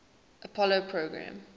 apollo program